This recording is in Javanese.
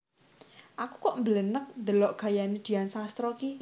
Aku kok mblenek ndelok gayane Dian Sastro iki